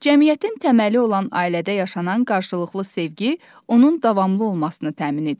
Cəmiyyətin təməli olan ailədə yaşanan qarşılıqlı sevgi onun davamlı olmasını təmin edir.